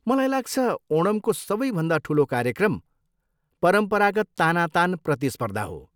मलाई लाग्छ ओणमको सबैभन्दा ठुलो कार्यक्रम परम्परागत तानातान प्रतिस्पर्धा हो।